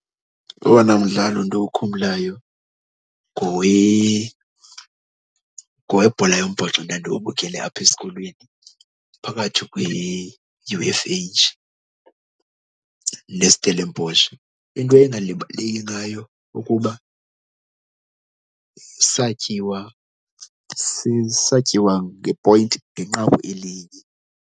Owona mdlalo ndiwukhumbulayo ngowebhola yombhoxo ndandiwubukele apha esikolweni phakathi kwe-U_F_H neStellenbosch. Into engalibaleki ngayo kukuba satyiwa satyiwa nge-point, ngenqaku elinye.